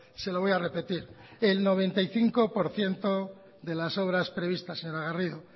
se lo voy a repetir el noventa y cinco por ciento de las obras previstas señora garrido